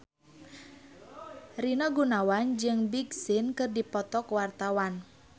Rina Gunawan jeung Big Sean keur dipoto ku wartawan